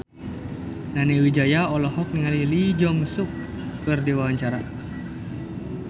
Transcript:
Nani Wijaya olohok ningali Lee Jeong Suk keur diwawancara